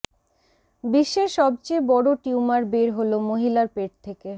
বিশ্বের সবচেয়ে বড় টিউমার বের হল মহিলার পেট থেকে